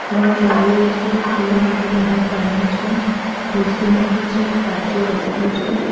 ત્રણ બારીઓ છે પીવા માટે બહાર પાણી છે ખુરશી મૂકી છે કાચો રસ્તો છે.